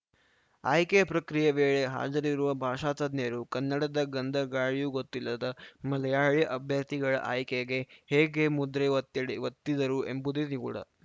ಆಯ್ಕೆ ಪ್ರಕ್ರಿಯೆ ವೇಳೆ ಹಾಜರಿರುವ ಭಾಷಾ ತಜ್ಞರು ಕನ್ನಡದ ಗಂಧಗಾಳಿಯೂ ಗೊತ್ತಿಲ್ಲದ ಮಲಯಾಳಿ ಅಭ್ಯರ್ಥಿಗಳ ಆಯ್ಕೆಗೆ ಹೇಗೆ ಮುದ್ರೆ ಒತ್ತಿಡ ಒತ್ತಿದರು ಎಂಬುದೇ ನಿಗೂಢ